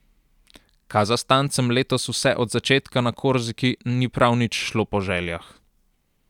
Kazahstancem letos vse od začetka na Korziki ni prav nič šlo po željah.